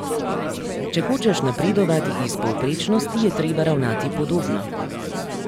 Če hočeš napredovati iz povprečnosti, je treba ravnati podobno.